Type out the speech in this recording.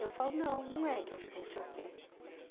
Eu falo, não, não é que eu fico no seu pé.